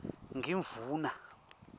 ngimdvuna